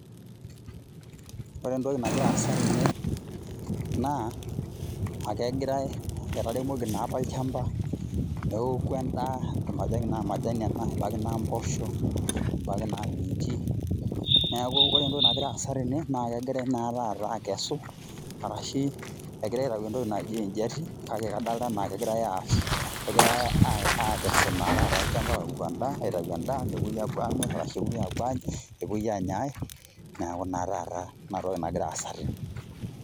Ore entoki nagira aasa tene, naa, akegirai etaremoki naapa olchamba, neeku endaa, ebaiki naa majani ena, ebaiki naa mpoosho, ebaiki naa miinji, neeku ore entoki nagira aasa tene, na kegirai na taata akesu, arashi egirai aitayu entoki naji ejiati, kake kadolta enaa ekigirai aas, kegirai akesu naa taata olchamba aoku endaa aitayu endaa, nepoi apuo amir, arashu epoi apuo anya, nepoi anya ai. Neeku naa taata inatoki nagira aasa tene.